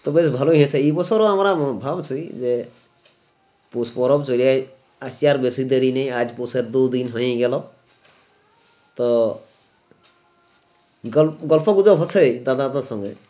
তো বেস ভালোই হয়েছে এই বছর ও আমারা ভাবছি যে পৌষ পরব ছোলে এই আসেছে আর বেসিক দেরি নেই আর বসে দুই দিন হয়েই গেল তো গন গল্প গুজব হচ্ছে দাদাদের সংঘে